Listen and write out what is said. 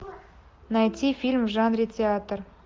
найти фильм в жанре театр